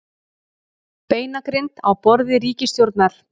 Beinagrind á borði ríkisstjórnar